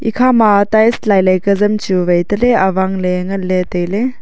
ekhama tiles lailai ka jam chu wai taley awang ley nganley tailey.